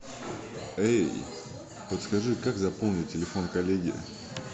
эй подскажи как заполнить телефон коллеги